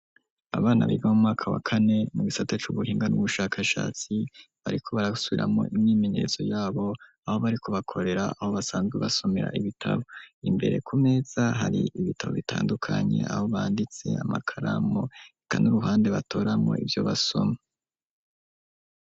Abana biga mumwaka wa kane ,mu gisata c'ubuhinga n'ubushakashatsi ,bariko barasubiramwo imyimenyerezo yabo ,aho bariko bakorera aho basanzwe basomera ibitabo, imbere ku meza hari ibitabo bitandukanye aho banditse amakaramu eka n'uruhande batoramwo ivyo basoma.